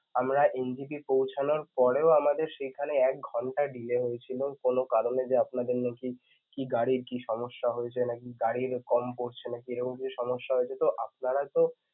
আমরা NJP পৌঁছানোর পরেও আপনাদের সেইখানে এক ঘণ্টা delay হয়েছিল কোন কারনে যে আপনাদের লোকই কি গাড়ির কি সমস্যা হয়েছে নাকি গাড়ির এরকম কিছু সমস্যা হয়েছে তো আপনারা তো